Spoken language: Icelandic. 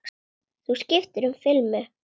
Þú skiptir um filmu!